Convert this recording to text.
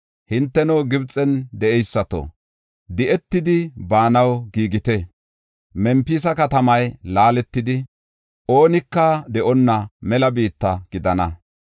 Hinteno, Gibxen de7eysato, di7etidi baanaw giigite. Mempisa katamay laaletidi, oonika de7onna mela biitta gidana.